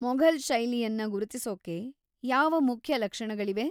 ಮೊಘಲ್‌ ಶೈಲಿಯನ್ನ ಗುರುತಿಸೊಕ್ಕೆ ಯಾವ ಮುಖ್ಯ ಲಕ್ಷಣಗಳಿವೆ?